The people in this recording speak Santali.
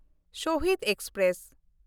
ᱥᱟᱦᱤᱰ ᱮᱠᱥᱯᱨᱮᱥ